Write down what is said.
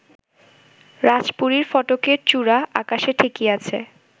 রাজপুরীর ফটকের চূড়া আকাশে ঠেকিয়াছে